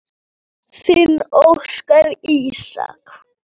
Þinn Óskar Ísak.